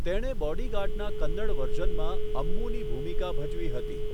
તેણે બોડીગાર્ડના કન્નડ વર્ઝનમાં અમ્મુની ભૂમિકા ભજવી હતી.